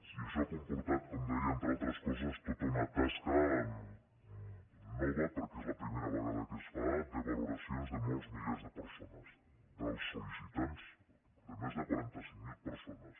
i això ha comportat com deia entre altres coses tota una tasca nova perquè és la primera vegada que es fa de valoracions de molts milers de persones dels sollicitants de més de quaranta cinc mil persones